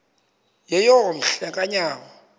yeyom hle kanyawo